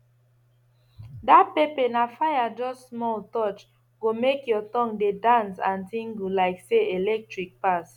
dat pepper na fire just small touch go make your tongue dey dance and tingle like say electric pass